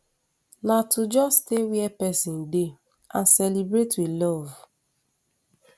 na to just stay wia pesin dey and celebrate wit love